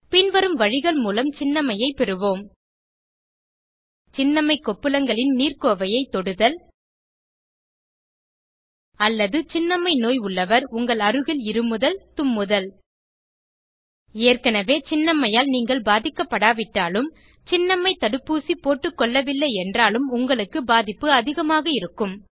பின்வரும் வழிகள் மூலம் சின்னம்மையை பெறுவோம் சின்னம்மை கொப்புளங்களின் நீர்க்கோவையைத் தொடுதல் அல்லது சின்னம்மை நோய் உள்ளவர் உங்கள் அருகில் இருமுதல் தும்முதல் ஏற்கனவே சின்னம்மையால் நீங்கள் பாதிக்கப்படாவிட்டாலும் சின்னம்மை தடுப்பூசி போட்டுக்கொள்ளவில்லை என்றாலும் உங்களுக்கு பாதிப்பு அதிகமாக இருக்கும்